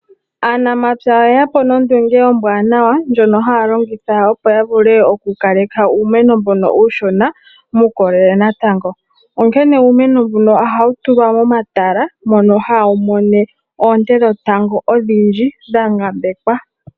Aanamapya oye ya po nondunge ombwaanawa ndjono haya longitha, opo ya kaleke uumeno mbono uushona muukolele natango. Onkene uumeno mbuno ohawu tulwa momatala mono itawu mono oonte dhetango idhindji dha ngambekwa.